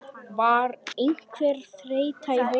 Var einhver þreyta í hópnum?